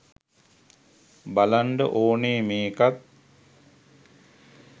බලන්ඩ ඕනෙ මේකත්